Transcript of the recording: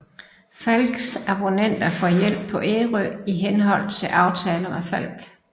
Falcks abonnenter får hjælp på Ærø i henhold til aftaler med Falck